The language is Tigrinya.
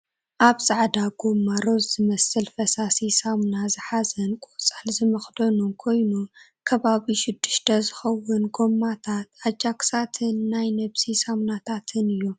ኣብ ፃዕዳ ጎማ ሮዝ ዝመስል ፈሳሲ ሰምና ዝሓዘን ቆፃል ዝመክደኑ ኮይኑ ከባቢ ሽዱሽተ ዝከውን ጎማታት ንኣጃክሳትን ናይ ነብሲ ሳምናታትን እዮም።